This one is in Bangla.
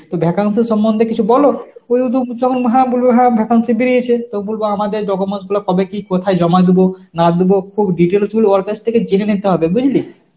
তো vacancy সম্বন্ধে কিছু বল যেমন হ্যাঁ বলবে হ্যাঁ vacancy বেরিয়েছে তো বুলবো আমাদের documents গুলো কবে কী কোথায় জমা দিব না দিব খুব details গুলো ওর কাছ থেকে জেনে নিতে হবে বুঝলি.